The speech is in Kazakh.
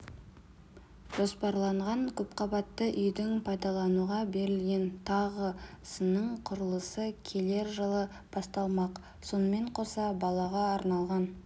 жоспарланған көпқабатты үйдің пайдалануға берілген тағы сының құрылысы келер жылы басталмақ сонымен қоса балаға арналған